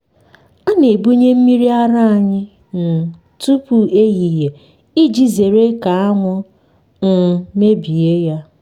a na-ebunye mmiri ara anyị um tupu ehihie iji zere ka anwụ um mebie ya.